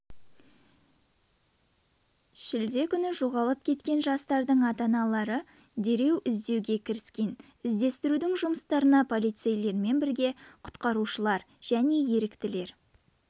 шілде күні жоғалып кеткен жастарды ата-аналары дереу іздеуге кіріскен іздестіру жұмыстарына полицейлермен бірге құтқарушылар және еріктілер